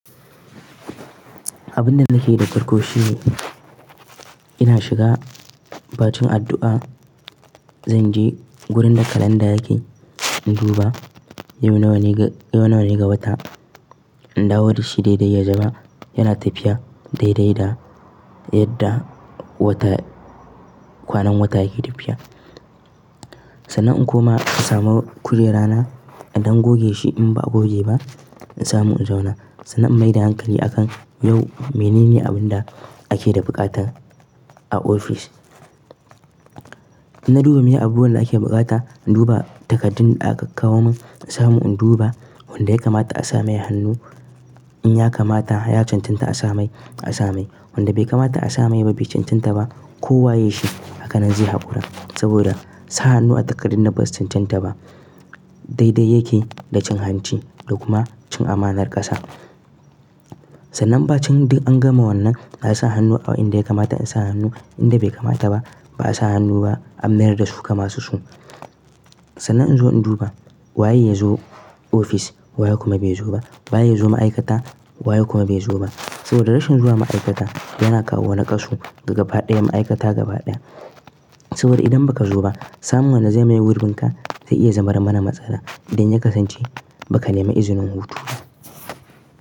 Abun da nake da farko shine ina shiga, ba cin addu'a, zan je wurin da kalanda yake, in duba yau nawa ne ga, yau nawa ne ga wata. In dawo da shi daidai ya zama yana tafiya daidai da yadda wata, kwanan wata yake tafiya. Sannan in koma in samu kujera na, idan goge shi in ba a goge ba, in samu in zauna. Sannan in maida hankali a kan yau menene abun da ake da buƙatar a ofis. In na duba meye abubuwan da ake buƙata, in duba takardun da aka kawo min, in samu in duba wanda ya kamata a sa mai hannu in ya kamata ya cancanta a sa mai, a sa mai. Wanda bai kamata a sa mai ba bai cancanta ba, kowa yayi shi, haka nan zai haƙura. Saboda sa hannu a takardu na ba su cancanta ba, daidai yake da cin hanci da kuma cin amanar ƙasa. Sannan ba cin duk an gama wannan, na yi sa hannu a inda ya kamata in sa hannu, inda bai kamata ba ba a sa hannu ba an mayar da su kamar su su. Sannan in zo in duba waye ya zo ofis waye kuma bai zo ba, waye ya zo ma'aikata waye kuma bai zo ba. Saboda rashin zuwa ma'aikata yana kawo nakasu ga faɗiya ma'aikata gabaɗaya. Saboda idan baka zo ba, samun wanda zai maye gurbin ka zai iya zama mana matsala idan ya kasance baka nema izinin hutu.